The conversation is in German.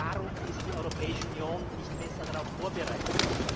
Warum ist die Europäische Union nicht besser darauf vorbereitet?